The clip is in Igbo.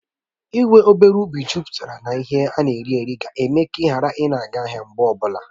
Ị́ nwe obere ubi jupụtara na ihe ana eri eri ga-eme ka Ị́ ghara ị ga ahịa mgbe ọbụla